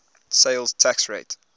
sales tax rate